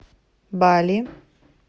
бали